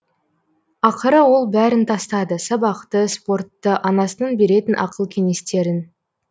ақыры ол бәрін тастады сабақты спортты анасының беретін ақыл кенестерін